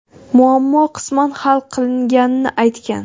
muammo qisman hal qilinganini aytgan.